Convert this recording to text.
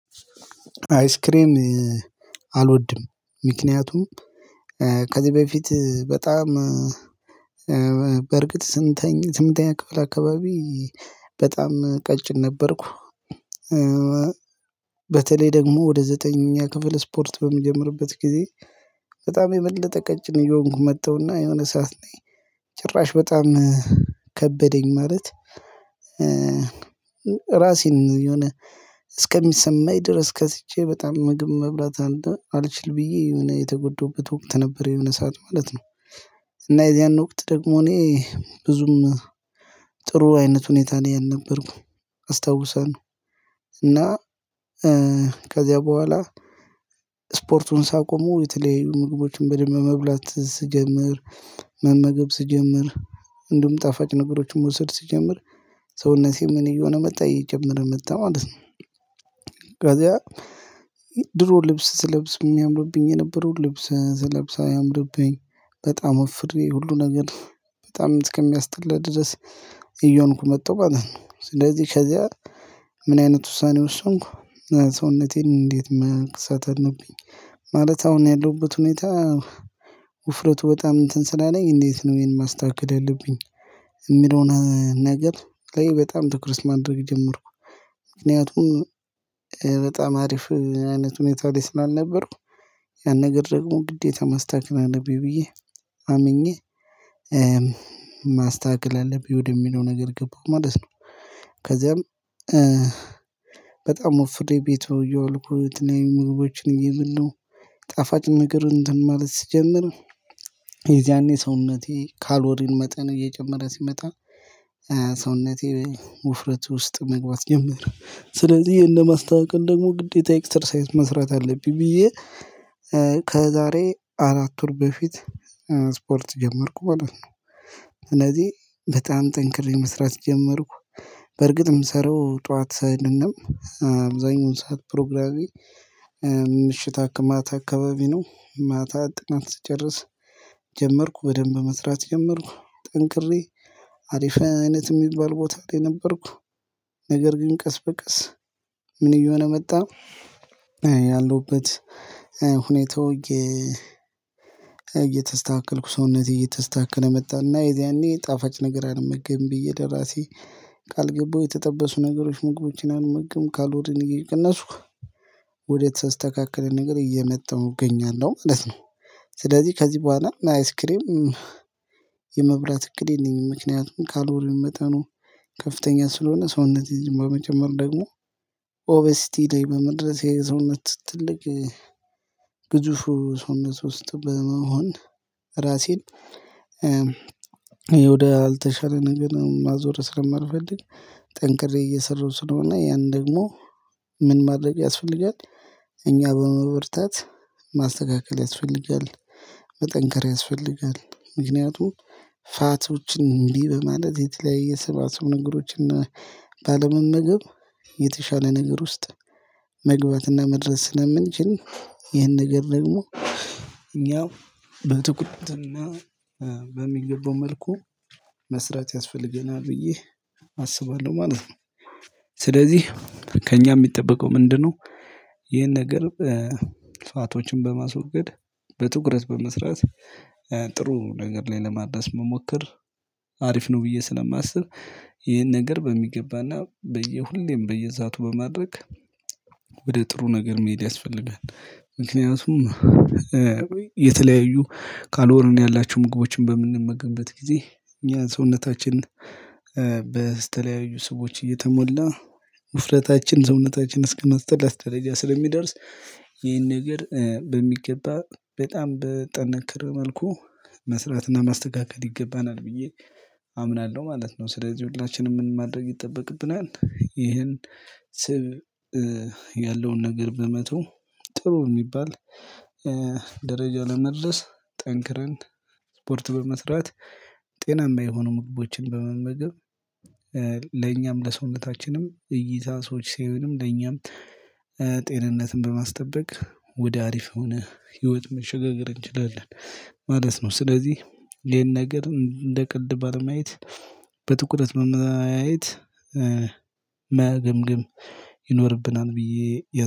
አይስክሬም አልወድም። ምክንያቱም ከዚህ በፊት በጣም በእርግጥ ስምንተኛ ስምንተኛ ክፍል አካባቢ በጣም ቀጭን ነበርኩ። በተለይ ደግሞ ወደ ዘጠነኛ ክፍል ስፖርት በሚጀምርበት ጊዜ በጣም የበለጠ ቀጭን እየሆንኩ መጣሁና የሆነ ሰዓት ነኝ ጭራሽ በጣም ከበደኝ። ማለት ራሴን የሆነ እስከሚሰማኝ ድረስ ከስቼ በጣም ምግብ መብላት አለ አልችል ብዬ የሆነ የተጎደሁበት ወቅት ነበር የሆነ ሰዓት ማለት ነው። እና የዚያን ወቅት ደግሞ እኔ ብዙም ጥሩ አይነት ሁኔታ ላይ አልነበርኩም አስታውሳለሁ። እና ከዚያ በኋላ ስፖርቱን ሳቆሙ የተለዩ ምግቦችን በደንብ መብላት ስጀምር መመገብ ስጀምር እንደውም ጣፋጭ ነገሮችን መውሰድ ስጀምር ሰውነቴ ምን እየሆነ መጣ እየጨመረ መጣ ማለት ነው። ከዚያ ድሮ ልብስ ስለብስ የሚያምርብኝ የነበረው ልብስ ስለብስ አያምርብኝ በጣም ወፍሬ ሁሉ ነገር በጣም እስከሚያስጠላ ድረስ እየሆንኩ መጣሁ ማለት ነው። ስለዚህ ከዚያ ምን አይነት ውሳኔ ወስንኩ ሰውነቴን እንዴት መክሳት አለብኝ ማለት አሁን ያለሁበት ሁኔታ ውፍረቱ በጣም እንትን ስላለኝ እንዴት ነው ይሄን ማስተካከል ያለብኝ? የሚለውን ነገር በጣም ትኩረት ማድረግ ጀመርኩ። ምክንያቱም በጣም አሪፍ አይነት ሁኔታ ላይ ስላልነበርኩ ያን ነገር ደግሞ ግዴታ ማስተካከል አለብኝ ብዬ አምኜ ማስተካከል አለብኝ ወደሚለው ነገር ገባሁ ማለት ነው። ከዚያም በጣም ወፍሬ ቤት እየዋልኩ የተለያዩ ምግቦችን እየበላሁ ጣፋጭ ነገር እንትን ማለት ስጀምር የዚያኔ ሰውነቴ ካሎሪን መጠን እየጨመረ ሲመጣ ሰውነቴ ውፍረት ውስጥ መግባት ጀመረ። ስለዚህ ይሄን ለማስተካከል ደግሞ ግዴታ ኤክሰርሳይስ መስራት አለብኝ ብዬ ከዛሬ አራት ወር በፊት ስፖርት ጀመርኩ ማለት ነው። እነዚህ በጣም ጠንክሬ መስራት ጀመርኩ፤ በርግጥም ምሰራው ጠዋት ሰይድንም አብዛኛውን ሰዓት ፕሮግራሜ ምሽት ማታ አካባቢ ነው። ማታ ጥናት ትጨርስ ጀመርኩ። በደንብ መስራት ጀመርኩ ጠንክሬ። አሪፍ አይነት የሚባል ቦታ ላይ ነበርኩ። ነገር ግን ቀስ በቀስ ምን እየሆነ መጣ ያለሁበት ሁኔታው እየተስተካከልኩ ሰውነቴ እየተስተካከለ መጣ። እና የዚያኔ ጣፋጭ ነገር አልመገብም ብዬ ለራሴ ቃል ገባሁ። የተጠበሱ ነገሮች ምግቦችን አልመገብም። ካሎሪን እየቀነስኩ ወደ ተስተካከለ ነገር እየመጣሁ እገኛለሁ ማለት ነው። ስለዚህ ከዚህ በኋላ አይስክሬም የመብራት እቅድ የለኝም። ምክንያቱም ካሎሪን መጠኑ ከፍተኛ ስለሆነ ሰውነቴን ዝም ብሎ መጨመሩ ደግሞ ኦበስቲ ላይ በመድረስ የሰውነት ትልቅ ግዙፉ ሰውነት ውስጥ በመሆን ራሴን ይሄ ወደ አልተሻለ ነገር ማዞር ስለማልፈልግ ጠንክሬ እየሰራሁ ስለሆነ ያን ደግሞ ምን ማድረግ ያስፈልጋል እኛ በመበርታት ማስተካከል ያስፈልጋል። መጠንከር ያስፈልጋል። ምክንያቱም ፋቶችን እንዲህ በማለት የተለያየ ስባስብ ነገሮችን ባለመመገብ የተሻለ ነገር ውስጥ መግባትና መድረስ ስለምንችል ይህን ነገር ደግሞ እኛው በትኩረትና በሚገባው መልኩ መስራት ያስፈልገናል ብዬ አስባለሁ ማለት ነው። ስለዚህ ከእኛ የሚጠበቀው ምንድነው? ይሄን ነገር ፋቶችን በማስወገድ፣ በትኩረት በመስራት ጥሩ ነገር ላይ ለማድረስ መሞከር አሪፍ ነው ብዬ ስለማስብ ይሄን ነገር በሚገባና በየሁሌም በሰአቱ በማድረግ ወደ ጥሩ ነገር መሄድ ያስፈልጋል። ምክንያቱም የተለያዩ ካሎሪን ያላችው ምግቦችን በምንመገንበት ጊዜ ያ ሰውነታችን በተለያዩ ስቦች እየተሞላ ውፍረታችን ሰውነታችን እስከማስጠላት ደረጃ ስለሚደርስ ይሄን ነገር በሚገባ በጣም በጠነከረ መልኩ መስራትና ማስተካከል ይገባናል ብዬ አምናለሁ ማለት ነው። ስለዚህ ሁላችንም ምን ማድረግ ይጠበቅብናል ይህን ስብ ያለውን ነገር በመተው ጥሩ የሚባል ደረጃ ለመድረስ ጠንክረን ስፖርት በመስራት ጤናማ የሆኑ ምግቦችን በመመገብ ለኛም ለሰውነታችንም እይታ ሰዎች ሲያዩንም ለኛም ጤንነትን በማስጠበቅ ወደ አሪፍ የሆነ ህይወት መሸገገር እንችላለን ማለት ነው። ስለዚህ ይሄን ነገር እንደ ቀልድ ባለማየት በትኩረት በማየት መገምገም ይኖርብናል ብዬ